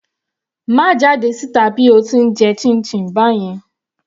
Má jáde síta bí o ti ń jẹ chinchin báyẹn.